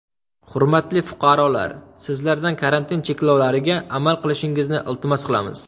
Hurmatli fuqarolar, sizlardan karantin cheklovlariga amal qilishingizni iltimos qilamiz.